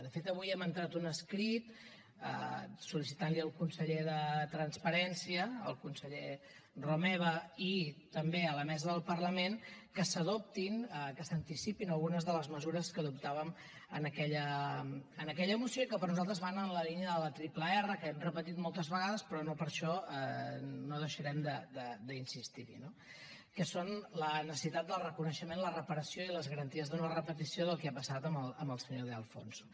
de fet avui hem entrat un escrit en què sol·licitàvem al conseller de transparència al conseller romeva i també a la mesa del parlament que s’adoptin que s’anticipin algunes de les mesures que adoptàvem en aquella moció i que per nosaltres van en la línia de la triple erra que hem repetit moltes vegades però no per això no deixarem d’insistir hi no que són la necessitat del reconeixement la reparació i les garanties de no repetició del que ha passat amb el senyor de alfonso